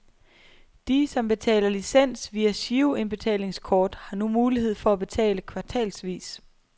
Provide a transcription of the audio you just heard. De, som betaler licens via giroindbetalingskort, har nu mulighed for at betale kvartalsvis.